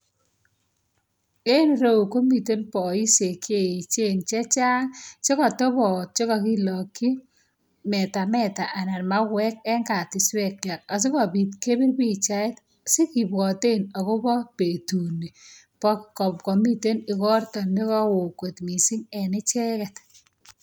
En ireyu komiten boishiek che echen chechang. Chekotoboot chekokilokyii metameta anan mauwek en katiswekchwak. Asikobiit kebir pochait sikibwoten akobo betunii bo komiten ikortoo nekowoon kot missing en icheket.